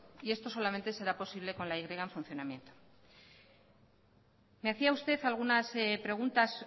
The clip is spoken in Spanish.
y esto solamente será posible con la y en funcionamiento me hacía usted algunas preguntas